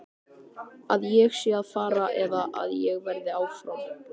Að ég sé að fara eða að ég verði áfram?